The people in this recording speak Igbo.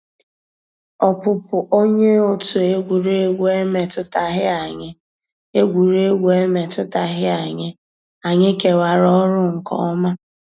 Ọ́pụ́pụ́ ónyé ótú égwurégwu emétùtàghị́ ànyị́; égwurégwu emétùtàghị́ ànyị́; ànyị́ kèwàrà ọ́rụ́ nkè ọ́má.